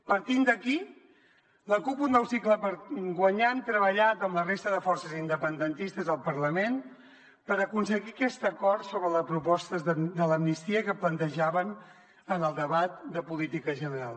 partint d’aquí la cup un nou cicle per guanyar hem treballat amb la resta de forces independentistes al parlament per aconseguir aquest acord sobre la proposta de l’amnistia que plantejàvem en el debat de política general